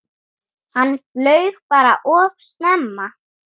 Hann flaug bara of snemma.